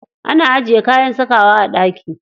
Ana ajiye kayan sakawa a ɗaki.